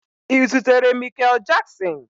Ị zutere Mikel Jaksin?